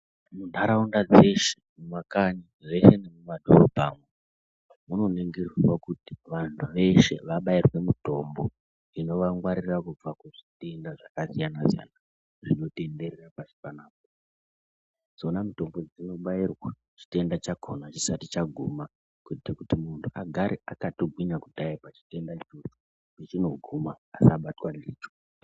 Nharaunda dzeshe mumakanyi zveshe nemumadhorobhamwo munoningirwa kuti vanhu veshe vabairwe mutombo inovangwarira kubva kuzvitenda zvakasiyanasiyana zvinotenderera pashi panapa dzona mitombo dzinobairwa chitenda chakona chisati chaguma kuite kuti munhu agare akatogwinya kudhaya pachitenda pechinoguma asabatwa ndicho.